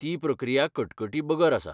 ती प्रक्रिया कटकटी बगर आसा.